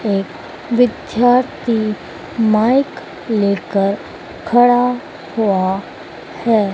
विद्यार्थी माइक लेकर खड़ा हुआ है।